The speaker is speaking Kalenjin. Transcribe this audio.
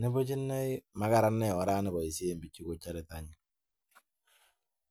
nimuch inei makararan orani baishen bichu kochare teta